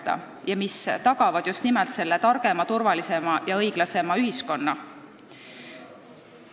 Need on need asjad, mis tagavad just nimelt selle targema, turvalisema ja õiglasema ühiskonna.